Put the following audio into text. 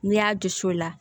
N'i y'a dusu o la